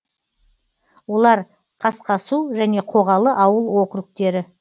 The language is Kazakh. олар қасқасу және қоғалы ауыл округтері